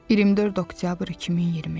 24 oktyabr 2020.